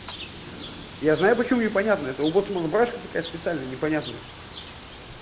я знаю почему непонятно это у боцмана барашка такая специальная непонятная